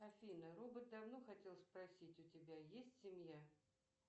афина робот давно хотел спросить у тебя есть семья